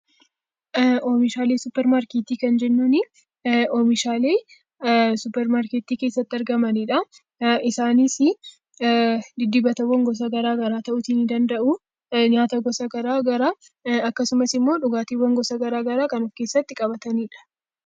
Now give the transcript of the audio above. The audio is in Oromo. Oomishaalee suupermaarkeetii kan jennuun, oomishaalee suupermaarkeetii keessatti argamanidha. Isaanis diddibata garaagaraa ta'uu ni danda'u, dibata gosa garaagaraa, dhugaatiiwwan gosa garaagaraa kan of keessatti qabatanidha.